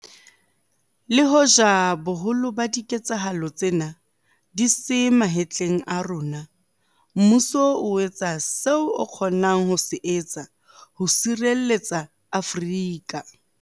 Le hoja boholo ba diketsahalo tsena di se matleng a rona, mmuso o etsa seo o kgonang ho se etsa ho sireletsa Afrika